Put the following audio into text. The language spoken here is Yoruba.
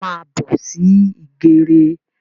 Yá má bọ̀ sí ìgèrè